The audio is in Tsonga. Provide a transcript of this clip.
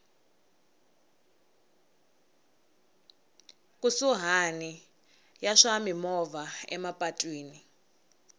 kusuhani ya swa mimovha emapatwini